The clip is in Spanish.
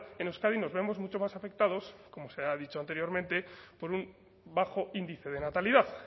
en euskadi nos vemos mucho más afectados como se ha dicho anteriormente por un bajo índice de natalidad